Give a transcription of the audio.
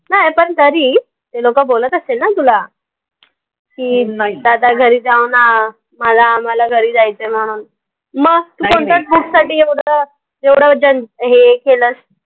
नाई, पण तरी. ते लोकं बोलत असतील ना तुला. की, आता घरी जाऊन, मला आम्हाला घरी जायचंय म्हणून. मग? तू कोणत्या book साठी एवढं एवढं हे केलंस?